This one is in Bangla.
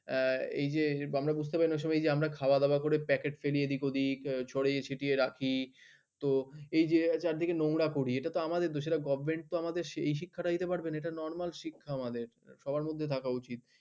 এই যে আমরা খাওয়া দাওয়া করে পেট ছড়িয়ে ছিটিয়ে রাখি তো এই যে চারিদিকের নোংরা করি গভ তো আমাদের এই শিক্ষা টা দিতে পারবে না normal শিক্ষা আমাদের